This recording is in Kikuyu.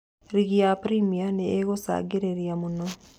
"Rigi ya Birimia nĩ ĩngũcagĩrĩria mũno.